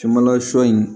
Caman na sɔ in